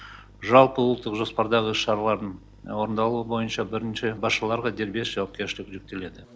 жалпыұлттық жоспардағы іс шаралардың орындалуы бойынша бірінші басшыларға дербес жауапкершілік жүктеледі